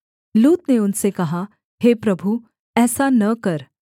लूत ने उनसे कहा हे प्रभु ऐसा न कर